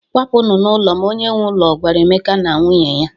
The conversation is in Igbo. "Kwapụnụ n'ụlọ m," onye nwe ụlọ gwara Emeka na nwunye ya.